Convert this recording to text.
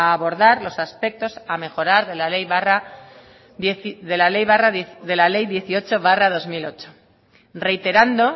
a abordar los aspectos a mejorar de la ley dieciocho barra dos mil ocho reiterando